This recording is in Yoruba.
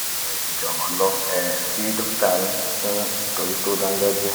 ẹ jọ̀rọ̀ lọ um sí dókítà yín fún ìtọ́jú tó dáńgájíá